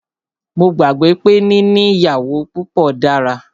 Mó gbàgbé pé níní ìyàwó púpọ dára.